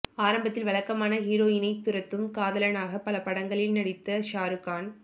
ஆரம்பத்தில் வழக்கமான ஹீரோயினைத் துரத்தும் காதலனாக பல படங்களில் நடித்த ஷாருக்கான்